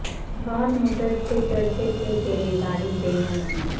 بہت مدت سے چرچے تھے تیرے باریک بینوں میں